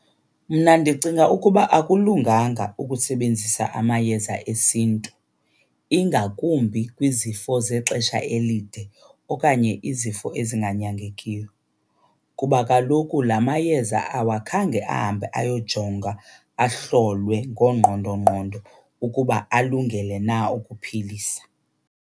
Mna ndicinga ukuba akulunganga ukusebenzisa amayeza esiNtu, ingakumbi kwizifo zexesha elide okanye izifo ezinganyangekiyo. Kuba kaloku la mayeza awakhange ahambe ayojongwa, ahlolwe ngoongqondongqondo ukuba alungele na ukuphilisa.